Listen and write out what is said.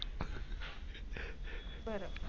बर